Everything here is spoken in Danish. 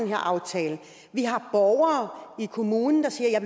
her aftale vi har borgere i kommunerne der siger at